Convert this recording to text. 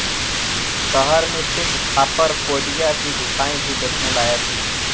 शहर में स्थित खापराकोडिया की गुफाएं भी देखने लायक है